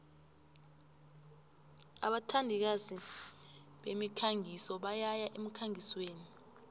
abathandikazi bemikhangiso bayaya emkhangisweni